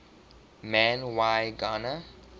man y gana